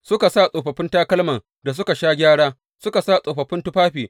Suka sa tsofaffin takalman da suka sha gyara, suka sa tsofaffin tufafi.